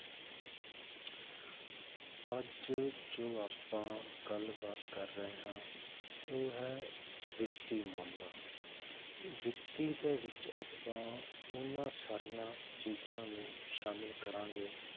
ਅੱਜ ਜੋ ਆਪਾਂ ਗੱਲਬਾਤ ਕਰ ਰਹੇ ਹਾਂ ਉਹ ਹੈ ਵਿੱਤੀ ਮਾਮਲਾ, ਵਿੱਤੀ ਦੇ ਵਿੱਚ ਆਪਾਂ ਉਹਨਾਂ ਸਾਰੀਆਂ ਚੀਜ਼ਾਂ ਨੂੰ ਸ਼ਾਮਿਲ ਕਰਾਂਗੇ,